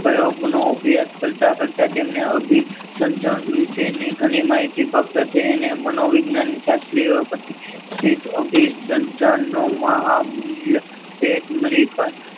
પ્રયોગનો અભ્યાસ કરતા કરતા તેમને અભી સમજણ વિશેની ઘણી માહિતી પ્રાપ્ત થઈ અને મનોવિજ્ઞાનના શાસ્ત્રીઓએ પછી શીત અભિસંધાનનો મહામૂલ્ય ભેટ મળી.